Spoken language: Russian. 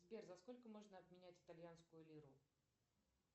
сбер за сколько можно обменять итальянскую лиру